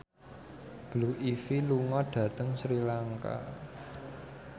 Blue Ivy lunga dhateng Sri Lanka